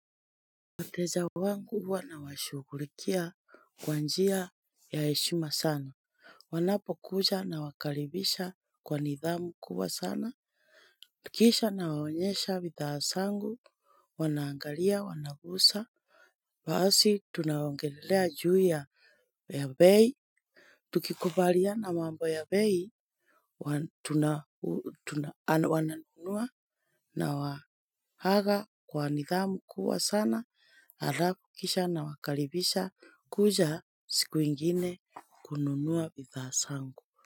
Wateja wangu wanawashukurikia kwanjia ya eshima sana. Wanapo kuja na wakaribisha kwa nidhamu kubwa sana. Kisha na waonyesha vidhasa angu. Wanaangalia wanagusa. Basi tunaongelelea juu ya beyi. Tukikubalia na mambo ya beyi. Wananunua na wahaga kwa nidhamu kuwa sana. Arafu kisha na makaribisha kuja siku ingine kununuwa pithasangu.